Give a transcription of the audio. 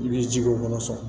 I b'i jij'o kɔnɔ sisan